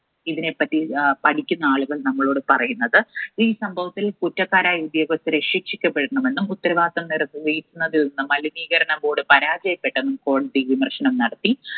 ഇതിനെപ്പറ്റി ആഹ് പഠിക്കുന്ന ആളുകൾ നമ്മളോട് പറയുന്നത് ഈ സംഭവത്തിൽ കുറ്റക്കാരായ ഉദ്യോഗസ്ഥരെ ശിക്ഷിക്കപ്പെടണമെന്നും ഉത്തരവാദിത്വം നിർവഹിക്കുന്നതിൽ നിന്ന് മലിനീകരണ ബോർഡ് പരാജയപ്പെട്ടെന്നും കോടതി വിമർശനം നടത്തി.